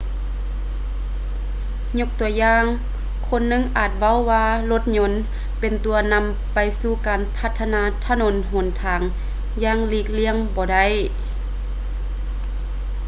ຍົກຕົວຢ່າງ ຄົນໜຶ່ງອາດເວົ້າວ່າ ລົດຍົນ ເປັນຕົວນຳໄປສູ່ການພັດທະນາຖະໜົນຫົນທາງຢ່າງຫຼີກລ້ຽງບໍ່ໄດ້